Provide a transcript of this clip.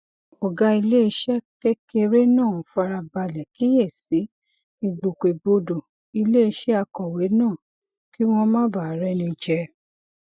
ògá iléeṣé kékeré náà fara balè kíyè sí ìgbòkègbodò iléeṣé akòwé náà kí wón má bàa réni jẹ